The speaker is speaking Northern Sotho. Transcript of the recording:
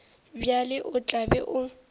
bjalo o tla be o